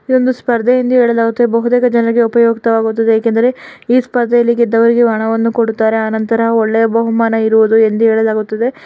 ಇದೊಂದು ಸ್ಪರ್ಧೆ ಎಂದು ಹೇಳಲಾಗುತ್ತದೆ ಬಹುತೇಕ ಜನರಿಗೆ ಉಪಯೋಗವಾಗುತ್ತದೆ ಯಾಕಂದ್ರೆ ಈ ಸ್ಪರ್ಧೆಯಲ್ಲಿ ಗೆದ್ದವರಿಗೆ ಹಣವನ್ನು ಕೊಡುತ್ತಾರೆ. ಆ ನಂತರ ವೊಳ್ಳೆಯ ಬಹುಮಾನ ಇರುವುದು ಯಂದು ಹೇಳಲಾಗಿರುತ್ತದೆ.